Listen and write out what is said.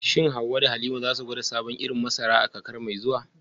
Shin Hawwa da Halima za su gwada sabon irin masara a kakar mai zuwa?